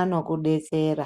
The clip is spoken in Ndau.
anokudetsera.